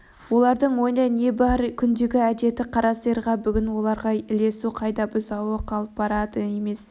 олардың ойында не бар күндегі әдеті қара сиырға бүгін оларға ілесу қайда бұзауы қалып барады емес